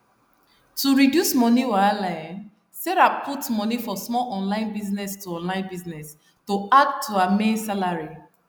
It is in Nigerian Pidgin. to reduce money wahala um sarah put money for small online business to online business to add to her main salary